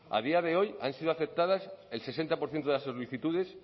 a día de hoy han sido aceptadas el sesenta por ciento de las solicitudes